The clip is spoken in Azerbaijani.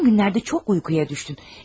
Son günlərdə çox yuxuya düşdün.